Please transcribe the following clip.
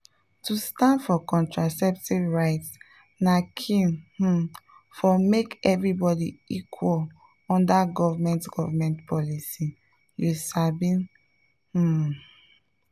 to stand for contraceptive rights na key um for make everybody equal under government government policy you sabi… pause small.